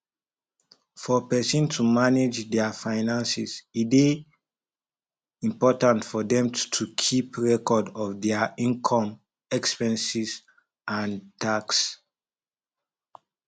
for person to manage their finances e dey important for them to keep record of their inome expenses and tax